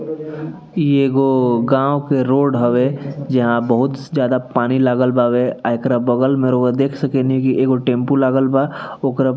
इ एगो गाँव के रोड हवे जहां बहुत ज्यादा पानी लागल बावै एकरा बगल रउवा देख सके नि एगो टेम्पू लागल बा ओकरा --